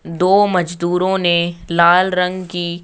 दो मजदूरों ने लाल रंग की--